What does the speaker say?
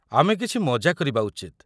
ଆମେ କିଛି ମଜା କରିବା ଉଚିତ।